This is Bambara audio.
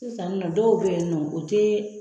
Sisan ni nɔ dɔw be yen nɔ o te